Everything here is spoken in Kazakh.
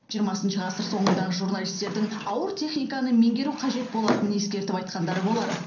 жиырмасыншы ғасыр соңындағы журналистердің ауыр техниканы меңгеру қажет болатынын ескертіп айтқандары болар